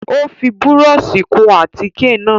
Ó fi búrọ́ọ̀ṣì kun àtíkè náà.